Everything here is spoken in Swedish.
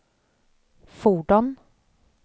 fordon